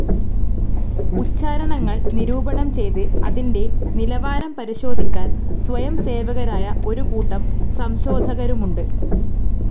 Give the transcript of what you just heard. ഉച്ചാരണങ്ങൾ നിരൂപണം ചെയ്ത് അതിന്റെ നിലാവാരം പരിശോധിക്കാൻ സ്വയംസേവകരായ ഒരു കൂട്ടം സംശോധകരുമുണ്ട്.